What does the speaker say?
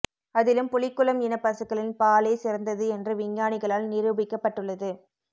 அதிலும் புலிக்குளம் இன பசுக்களின் பாலே சிறந்தது என்று விஞ்ஞானிகளால் நிருபிக்கப்பட்டுள்ளது